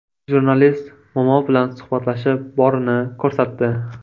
Jurnalist momo bilan suhbatlashib, borini ko‘rsatdi.